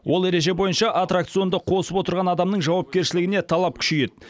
ол ереже бойынша аттракционды қосып отырған адамның жауапкершілігіне талап күшейеді